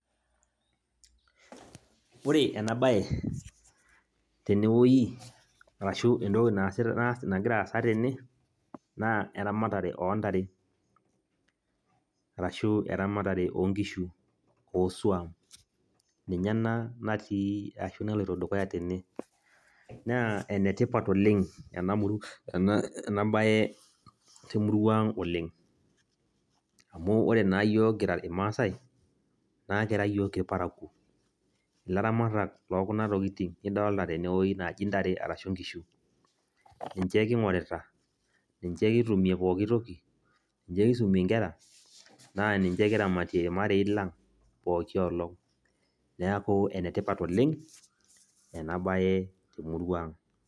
Ore enabae, tenewoi, arashu entoki nagira aasa tene, naa eramatare ontare. Arashu eramatare onkishu, osuam, ninye ena natii ashu naloito dukuya tene. Naa enetipat oleng enabae temurua oleng, amu ore naa yiok kira irmaasai, naa kira yiok irparakuo. Ilaramatak lokuna tokiting nidolta tenewoi naji ntare arashu nkishu. Ninche king'orita, ninche kitumie pooki toki, ninche kisuma nkera, na ninche kiramatie irmarei lang',pooki olong'. Neeku enetipat oleng, enabae temurua ang'.